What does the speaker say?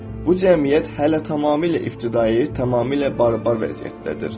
Bu cəmiyyət hələ tamamilə ibtidai, tamamilə barbar vəziyyətdədir.